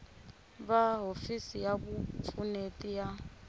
va hofisi ya vupfuneti ya